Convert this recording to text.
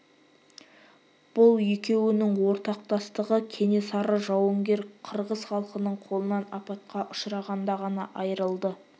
бұл екеуінің ортақтастығы кенесары жауынгер қырғыз халқының қолынан апатқа ұшырағанда ғана айрылды